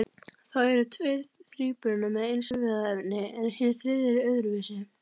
Þá eru tveir þríburana með eins erfðaefni en hinn þriðji er öðruvísi.